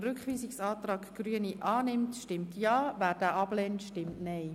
Wer den Rückweisungsantrag Grüne annimmt, stimmt Ja, wer diesen ablehnt, stimmt Nein.